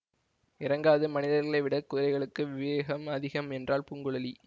இறங்காது மனிதர்களைவிடக் குதிரைகளுக்கு விவேகம் அதிகம் என்றாள் பூங்குழலி